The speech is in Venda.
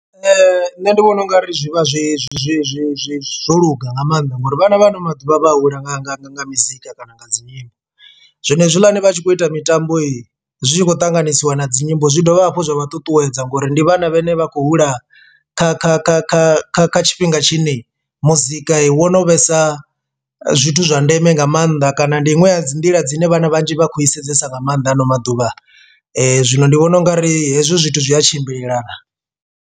Nṋe ndi vhona ungari zwi vha zwi zwi zwi zwi zwo luga nga maanḓa ngori vhana vha ano maḓuvha vha hula nga nga nga nga mizika kana nga dzinyimbo. Zwono hezwiḽani vhatshi kho ita mitambo he zwi tshi khou ṱanganisiwa na dzinyimbo zwi dovha hafhu zwa vha ṱuṱuwedza ngori ndi vhana vhane vha khou hula kha kha kha kha kha kha tshifhinga tshine muzika wo no vhesa zwithu zwa ndeme nga mannḓa kana ndi iṅwe ya dzi nḓila dzine vhana vhanzhi vha khou i sedzesa nga maanḓa hano maḓuvha. Zwino ndi vhona ungari hezwi zwithu zwi a tshimbilelana.